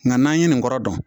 Nka n'an ye nin kɔrɔ dɔn